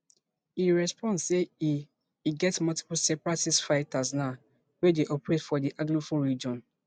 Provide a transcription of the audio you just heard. e respond say e e get multiple separatist fighters now wey dey operate for di anglophone region